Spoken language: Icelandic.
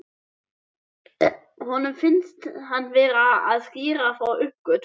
Honum finnst hann vera að skýra frá uppgötvun.